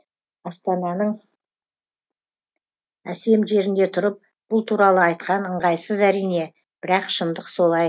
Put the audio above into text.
астананың әсем жерінде тұрып бұл туралы айтқан ыңғайсыз әрине бірақ шындық солай